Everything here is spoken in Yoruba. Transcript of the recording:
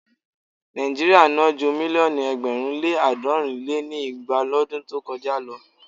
Nàíjíríà ná ju mílíọ̀nù ẹgbẹ̀rún lé àádọ́rin lé ní igba lọdún tó kọjá lọ.